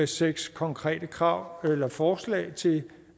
seks konkrete krav eller forslag til